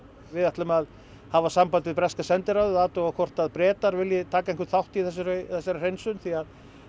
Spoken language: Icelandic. við ætlum að hafa samband við breska sendiráðið og athuga hvort Bretar vilja taka einhvern þátt í þessari þessari hreinsun því að